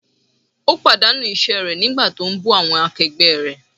Ó pàdánù iṣẹ́ rẹ̀ nígbà tí ó ń bú awọn akẹgbẹ́ rẹ̀.